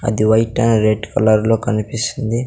అది white and red కలర్లో కనిపిస్తుంది.